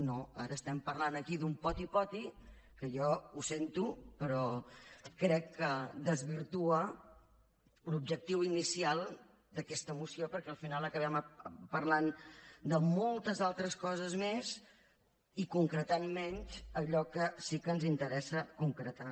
no ara estem parlant aquí d’un poti poti que jo ho sento però crec que desvirtua l’objectiu inicial d’aquesta moció perquè al final acabem parlant de moltes altres coses més i concretant menys allò que sí que ens interessa concretar